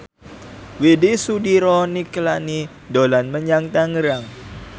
Widy Soediro Nichlany dolan menyang Tangerang